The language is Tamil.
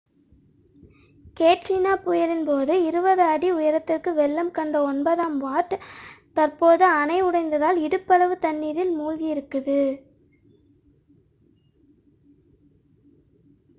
கேட்ரினா புயலின் போது 20 அடி உயரத்திற்கு வெள்ளம் கண்ட ஒன்பதாம் வார்ட் தற்போது அணை உடைந்ததால் இடுப்பளவு தண்ணீரில் மூழ்கியிருக்கிறது